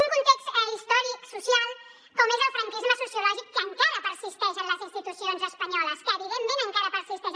un context històric social com és el franquisme sociològic que encara persisteix en les institucions espanyoles que evidentment encara persisteix